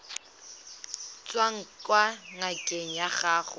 tswang kwa ngakeng ya gago